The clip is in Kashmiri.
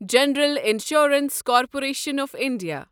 general insurance corporation of India